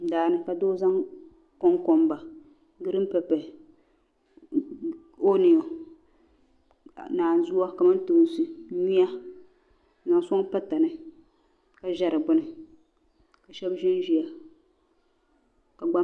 Daani ka doozaŋ kuŋkonba di mini pepe. ɔnio naanzua, kamantoonsi. nyuya n zaŋ soŋ patani ka ʒa di gbuni ka shabi ʒan ʒaya.